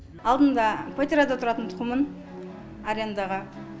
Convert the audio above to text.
алдында квартирада тұратын тұғынмын арендаға